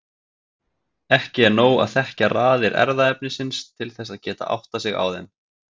Ekki er nóg að þekkja raðir erfðaefnisins til þess að geta áttað sig á þeim.